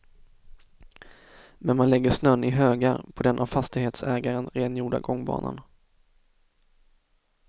Men man lägger snön i högar på den av fastighetsägaren rengjorda gångbanan.